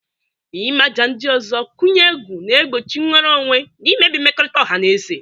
Ịmaja ndị ọzọ kụnye egwu, na-egbochi nnwere onwe, na imebi mmekọrịta ọha na eze.